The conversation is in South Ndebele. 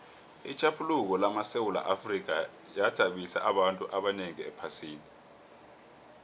itjhaphuluko lamasewula afrika yathabisa abantu abanengi ephasini